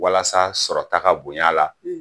Walasa sɔrɔ ta ka bonya la.